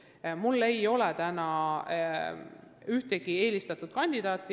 Jõhvi puhul ei ole minu jaoks ühtegi eelistatud kandidaati.